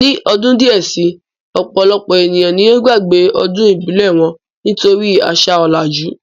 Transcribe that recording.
Ní ọdún díẹ̀ si, ọ̀pọ̀lọpọ̀ ènìyàn ni yóò gbàgbé ọdún ìbílẹ̀ wọn, nítorí àṣà ọ̀làjú